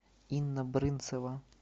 инна брынцева